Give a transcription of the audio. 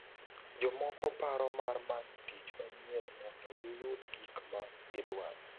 Jomoko paro mar manyo tich manyien mondo giyud gik ma gidwaro.